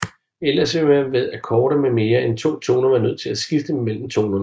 Ellers vil man ved akkorder med mere end to toner være nødt til at skifte mellem tonerne